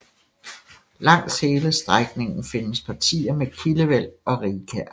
Langs hele strækningen findes partier med kildevæld og rigkær